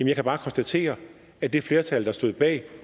jeg kan bare konstatere at det flertal der stod bag